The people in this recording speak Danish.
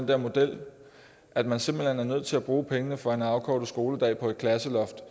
den model at man simpelt hen er nødt til at bruge pengene fra en afkortet skoledag på et klasseloft